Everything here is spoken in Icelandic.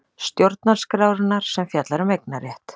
Stjórnarskrárinnar sem fjallar um eignarétt.